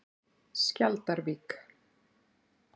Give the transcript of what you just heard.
Skjaldarvík